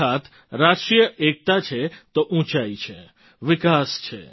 અર્થાત્ રાષ્ટ્રીય એકતા છે તો ઊંચાઈ છે વિકાસ છે